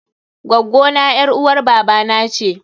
Gwaggo na ƴar uwar baba na ce.